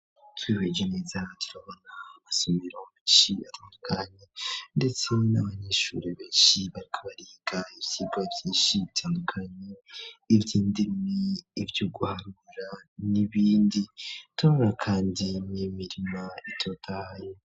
Twihweje neza turabona mu masomero menshi atandukanye ndetse n'abanyeshuri benshi bariko bariga ivyigwa vyinshi bitandukanye ivy'indemi, ivyo guharura, n'ibindi turabona Kandi n’imirima itotahaye.